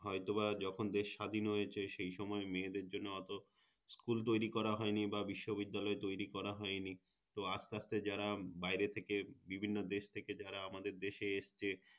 হয়তো বা যখন দেশ স্বাধীন হয়েছে সেই সময় মেয়েদের জন্য অতো School তৈরী করা হয়নি বা বিশ্ববিদ্যালয় তৈরী করা হয়নি তো আস্তে আস্তে যারা বাইরে থেকে বিভিন্ন দেশ থেকে যারা আমাদের দেশে এসেছে